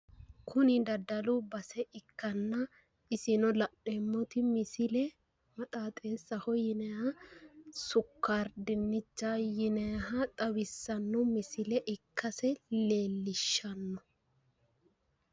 Kuni daddalu base ikkanna isino la'neemmoti misile maxaaxeessaho yinayiha sukkaari dinnichaho yinayiha xawissanno misile ikkase leellishshanno.